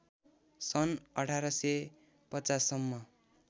सन् १८५० सम्म